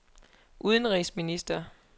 udenrigsminister